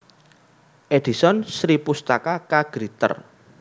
Edison Sripustaka K Gritter